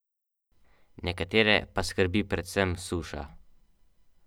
Levski bo isti dan na domačem parketu iskal srečo proti Cedeviti.